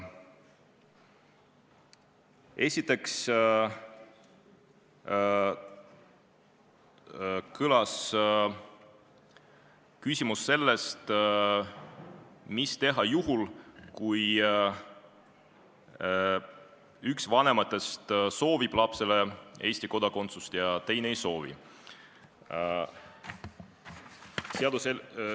Esiteks kõlas küsimus, mida teha juhul, kui üks vanematest soovib lapsele Eesti kodakondsust ja teine ei soovi.